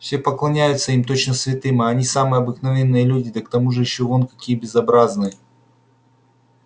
все поклоняются им точно святым а они самые обыкновенные люди да к тому же ещё вон какие безобразные